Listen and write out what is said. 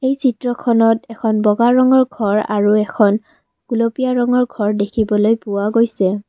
চিত্ৰখনত এখন বগা ৰঙৰ ঘৰ আৰু এখন গুলপীয়া ৰঙৰ ঘৰ দেখিবলৈ পোৱা গৈছে।